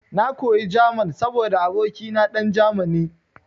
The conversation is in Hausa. Na koyi German saboda abokina dan Germany.